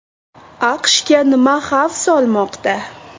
AQSHga nima xavf solmoqda?